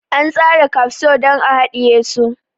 An tsara kafso don a hadiye su.